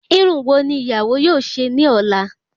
Irun wo ni ìyàwó yóò ṣe ní ola